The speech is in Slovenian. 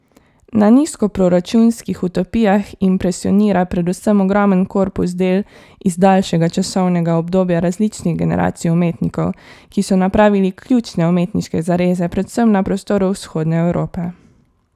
Na Nizkoproračunskih utopijah impresionira predvsem ogromen korpus del iz daljšega časovnega obdobja različnih generacij umetnikov, ki so napravili ključne umetniške zareze predvsem na prostoru vzhodne Evrope.